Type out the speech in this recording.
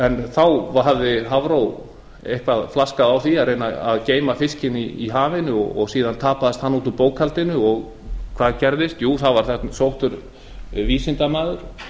þá hafði hafró eitthvað flaskað á því að reyna að geyma fiskinn í hafinu og síðan tapaðist hann út úr bókhaldinu og hvað gerðist jú sóttur var vísindamaður